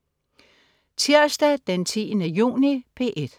Tirsdag den 10. juni - P1: